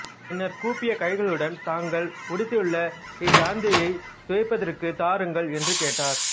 பின்னர் கூப்பிய கைகளுடன் தாங்கள் உடுத்துள்ள இக்கந்தையைத் துவைத்துதற்குத் தாருங்கள் என்று கேட்டார்